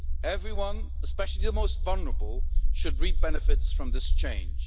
Everyone, especially the most vulnerable, should reap benefits from this change.